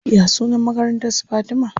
Ya sunan makarantar su Fatima?